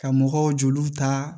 Ka mɔgɔw joliw ta